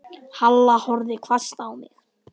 Halla horfði hvasst á mig.